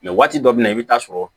waati dɔ bɛ na i bɛ taa sɔrɔ